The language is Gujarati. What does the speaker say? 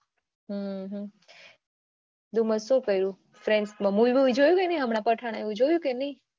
હમ ડુમ્મસ શું કર્યું friends મા Movie જોયુ કે નઈએ અત્યારે પઠાણ આવ્યું જોયું કે નહિ?